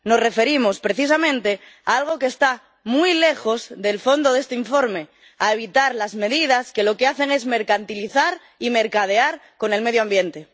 Nos referimos precisamente a algo que está muy lejos del fondo de este informe a evitar las medidas que mercantilizan y mercadean con el medio ambiente.